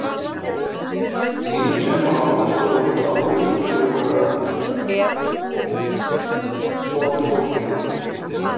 líkja má stórutá við fjórða borðfótinn